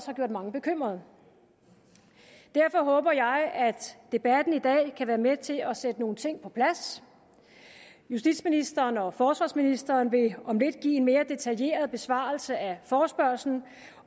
har gjort mange bekymrede derfor håber jeg at debatten i dag kan være med til at sætte nogle ting på plads justitsministeren og forsvarsministeren vil om lidt give en mere detaljeret besvarelse af forespørgslen